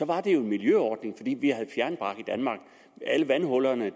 var det jo en miljøordning fordi vi havde fjernbrak i danmark alle vandhuller og